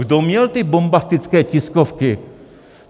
Kdo měl ty bombastické tiskovky?